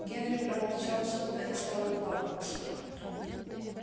генри проворчал что то и стал укладываться